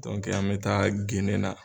an bɛ taa genen na